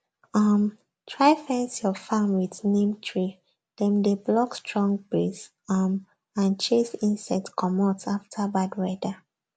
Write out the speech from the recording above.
um try fence your farm with neem treedem dey block strong breeze um and chase insect commot after bad weather